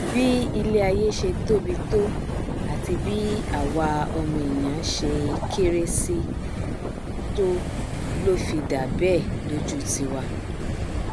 bí iléaiyé ṣe tóbi tó àti bí àwa ọmọ ènìà ṣe kéré síi to ló fi dà bẹẹ lójú tiwa